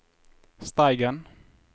Steigen